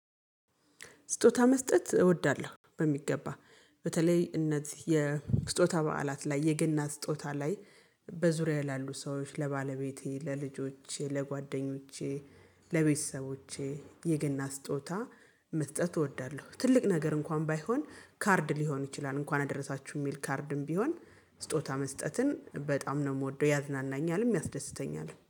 ስጦታ መስጠት እወዳለሁ በሚገባ በተለይ እነዚህ የስጦታ በዓላት ላይ የገና ስጦታ ላይ በዙሪያህ ላሉ ሰዎች ለባለቤቴ ለልጆቼ ለጓደኞቼ ለቤተሰቦቼ የገና ስጦታ መስጠት እወዳለሁ። ትልቅ ነገር እንኳን ባይሆን ካርድ ሊሆን ይችላል እንኳን አደረሳችሁ የሚል ካርድም ቢሆን ስጦታ መስጠትን በጣም ነው የምወደው ያዝናናኛልም ያስደስተኛልም